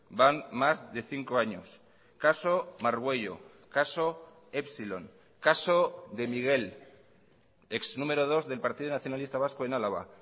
van más de cinco años caso margüello caso épsilon caso de miguel ex número dos del partido nacionalista vasco en álava